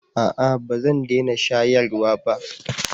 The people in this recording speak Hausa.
a'a ba zan dena shayarwa ba